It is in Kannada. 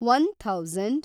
one thousand